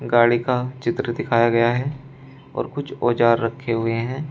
गाड़ी का चित्र दिखाया गया है और कुछ औजार रखे हुए हैं।